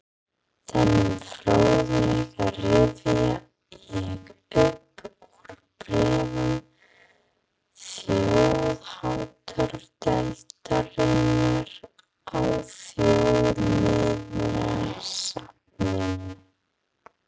Þennan fróðleik rifja ég upp úr bréfum þjóðháttadeildarinnar á Þjóðminjasafninu.